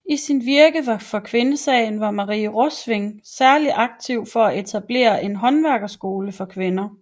I sit virke for kvindesagen var Marie Rovsing særlig aktiv for at etablere en håndværkerskole for kvinder